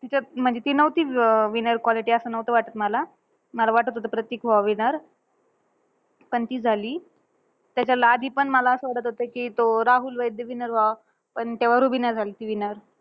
म्हणजे ती नव्हती अं winner quality असं नव्हतं वाटतं मला. मला वाटतं होतं प्रतीक व्हावा winner. पण ती झाली. त्याच्या ला आधी पण मला असं वाटतं होतं, कि राहुल वैद्य winner व्हावा, पण तेव्हा रुबिना झालती winner.